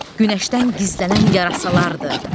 Günəşdən gizlənən yarasalardır.